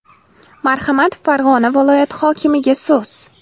Marhamat, Farg‘ona viloyati hokimiga so‘z.